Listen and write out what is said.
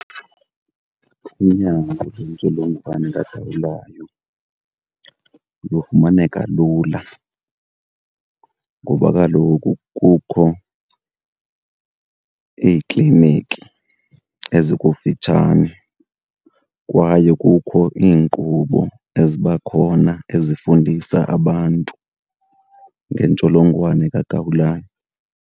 Unyango lwentsholongwane kagawulayo lufumaneka lula ngoba kaloku kukho iikliniki ezikufitshane, kwaye kukho iinkqubo eziba khona ezifundisa abantu ngentsholongwane kagawulayo.